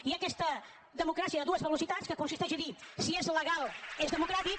hi ha aquesta democràcia de dues velocitats que consisteix a dir si és legal és democràtic